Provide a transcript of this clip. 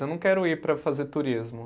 Eu não quero ir para fazer turismo.